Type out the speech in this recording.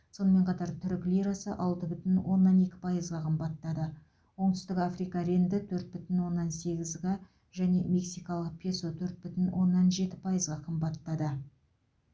сонымен қатар түрік лирасы алты бүтін оннан екі пайызға қымбаттады оңтүстік африка рэнді төрт бүтін оннан сегізға және мексикалық песо төрт бүтін оннан жеті пайызға қымбаттады